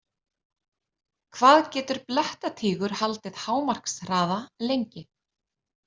Hvað getur blettatígur haldið hámarkshraða lengi?